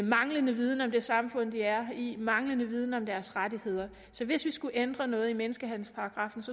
manglende viden om det samfund de er i og manglende viden om deres rettigheder så hvis vi skulle ændre noget i menneskehandel